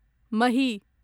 महि